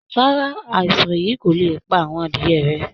Rárá, àìsàn yìí kò lè pa àwọn adìẹ rẹ